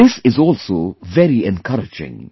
This is also very encouraging